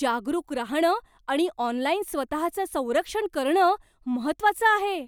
जागरूक राहणं आणि ऑनलाइन स्वतःचं संरक्षण करणं महत्त्वाचं आहे.